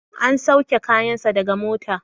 An sauke kayan sa daga mota